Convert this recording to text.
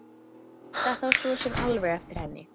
Þetta var svo sem alveg eftir henni.